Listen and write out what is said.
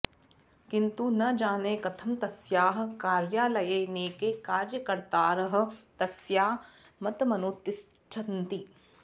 किन्तु न जाने कथं तस्याः कार्यालये नैके कार्यकर्तारः तस्याः मतमनुतिष्ठन्ति